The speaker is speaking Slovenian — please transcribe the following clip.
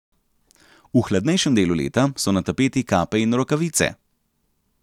V hladnejšem delu leta so na tapeti kape in rokavice.